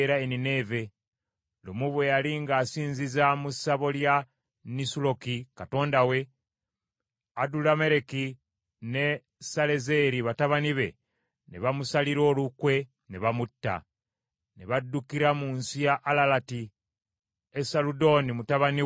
Lumu bwe yali ng’asinziza mu ssabo lya Nisuloki katonda we, Adulammereki, ne Salezeri batabani be ne bamusalira olukwe ne bamutta: ne baddukira mu nsi ya Alalati. Esaludooni mutabani we n’amusikira.